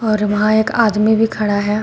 और वहां एक आदमी भी खड़ा है।